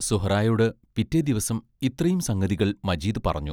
സുഹറായോട് പിറ്റേ ദിവസം ഇത്രയും സംഗതികൾ മജീദ് പറഞ്ഞു.